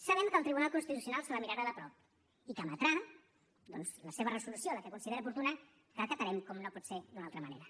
sabem que el tribunal constitucional se la mirarà de prop i que emetrà doncs la seva resolució la que consideri oportuna que acatarem com no pot ser d’una altra manera